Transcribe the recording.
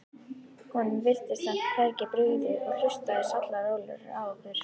Honum virtist samt hvergi brugðið og hlustaði sallarólegur á okkur.